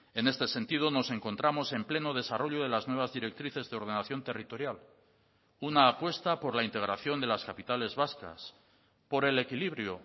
en este sentido nos encontramos en pleno desarrollo de las nuevas directrices de ordenación territorial una apuesta por la integración de las capitales vascas por el equilibrio